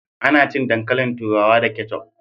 Ana cin dankalin turawa da keccuf